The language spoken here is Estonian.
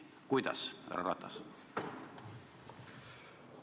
Kuidas, härra Ratas?